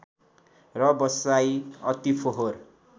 र बसाइ अति फोहर